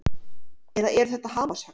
Eða eru þetta hamarshögg?